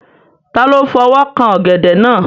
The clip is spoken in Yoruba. Ta ló fọwọ́ kan ọ̀gẹ̀dẹ̀ náà?